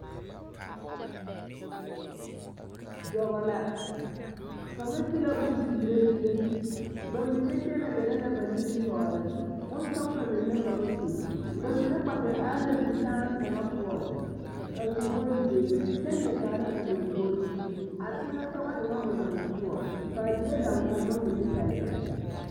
Dɔbɔ la, kaŋa ti la bone peerɛ zie, bamine kyɛnɛ gɛrɛ la ba nimitɔɔre, bonsɔgelɔ meŋ la ka ba su, bamine kpɛ te are la zikyãã kaŋa poɔŋ a su bonzeere kyɛ leɛ kaara o lombori, a teŋɛsoŋɔ e ŋa o naŋ soɔ, k'a die daŋgoɔma mine pɛle pɛle.